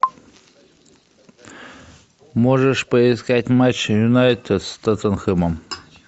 можешь поискать матч юнайтед с тоттенхэмом